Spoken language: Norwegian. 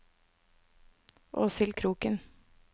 Åshild Kroken